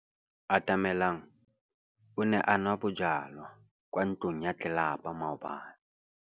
Atamelang o ne a nwa bojwala kwa ntlong ya tlelapa maobane.